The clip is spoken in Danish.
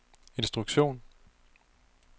instruktion